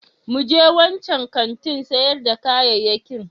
Mu je wancan kantin sayar da kayayyakin.